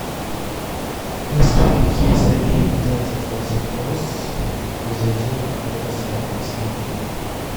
в поисковике забей вот этот вот запрос и зайди на какой то сайт и посмотри